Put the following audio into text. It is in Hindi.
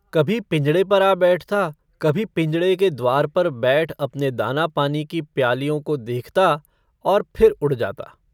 कभी पिंजड़े पर आ बैठता, कभी पिंजड़े के द्वार पर बैठ अपने दाना-पानी की प्यालियों को देखता, और फिर उड़ जाता।